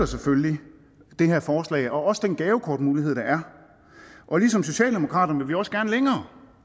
selvfølgelig det her forslag og også den gavekortmulighed der er og ligesom socialdemokraterne vil vi også gerne længere